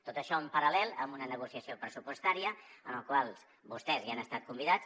tot això en paral·lel amb una negociació pressupostària en la qual vostès han estat convidats